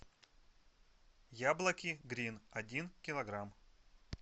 яблоки грин один килограмм